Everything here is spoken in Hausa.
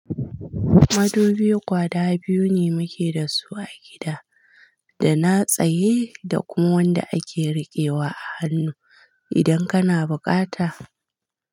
Madubi guda biyu ne muke da su a gida, da na tsaye da kuma wanda ake riƙewa a hannu idan kana buƙata.